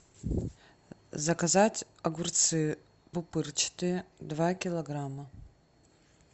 заказать огурцы пупырчатые два килограмма